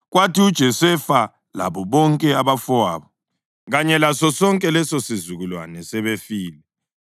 Kwathi uJosefa labo bonke abafowabo kanye lasosonke lesosizukulwane sebefile,